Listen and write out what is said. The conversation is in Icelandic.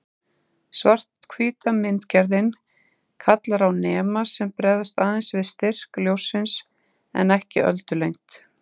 Svarthvíta myndgerðin kallar á nema sem bregðast aðeins við styrk ljóssins en ekki öldulengd.